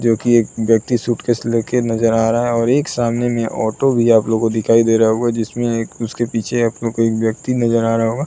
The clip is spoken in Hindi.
जोकि एक व्यक्ति सूटकेस ले के नजर आ रहा है और एक सामने में ऑटो भी आप लोग को दिखाई दे रहा होगा जिसमें एक उसके पीछे आप लोग को एक व्यक्ति नजर आ रहा होगा।